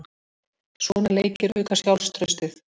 Svona leikir auka sjálfstraustið.